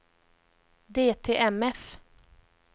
DTMF